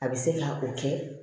A bɛ se ka o kɛ